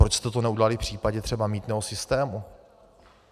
Proč jste to neudělali v případě třeba mýtného systému?